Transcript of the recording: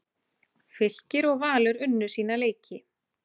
Fylkir og Valur unnu sína leiki